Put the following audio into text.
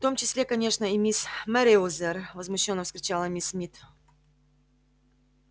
в том числе конечно и мисс мерриуэзер возмущённо вскричала миссис смит